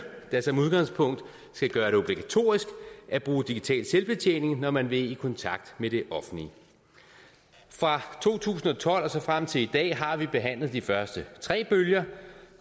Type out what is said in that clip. der som udgangspunkt skal gøre det obligatorisk at bruge digital selvbetjening når man vil i kontakt med det offentlige fra to tusind og tolv og frem til i dag har vi behandlet de første tre bølger